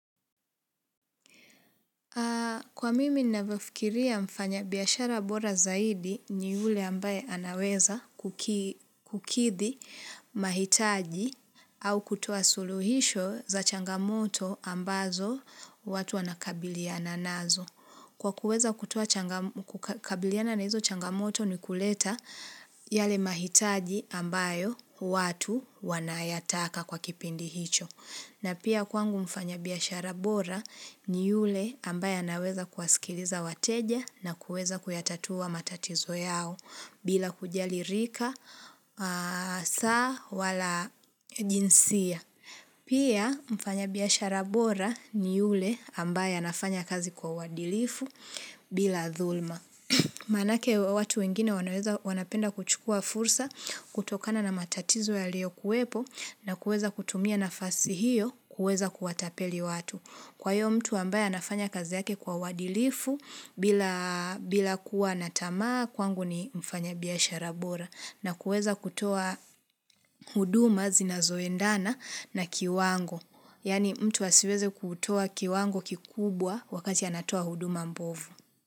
Kwa mimi ninavyofikiria mfanyabiashara bora zaidi ni yule ambaye anaweza kukidhi mahitaji au kutuo suluhisho za changamoto ambazo watu wanakabiliana nazo. Kwa kuweza kutoa kukabiliana na hizo changamoto ni kuleta yale mahitaji ambayo watu wanayataka kwa kipindi hicho. Na pia kwangu mfanya biashara bora ni yule ambaye anaweza kuwaskiliza wateja na kuweza kuyatatua matatizo yao bila kujali rika saa wala jinsia. Pia mfanya biashara bora ni yule ambaye anafanya kazi kwa uadilifu bila dhuluma. Maanake watu wengine wanapenda kuchukua fursa kutokana na matatizo ya lio kuwepo na kuweza kutumia na fasi hiyo kuweza kuwatapeli watu. Kwa hiyo mtu ambaye anafanya kazi yake kwa uadilifu bila kuwa natamaa kwangu ni mfanya biashara bora na kuweza kutoa huduma zinazoendana na kiwango. Yaani mtu asiweze kutoa kiwango kikubwa wakati anatoa huduma mbovu.